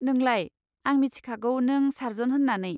नोंलाय, आं मिथिखागौ नों सारज'न होन्नानै।